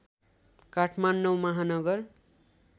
Kathmandu Mahanagar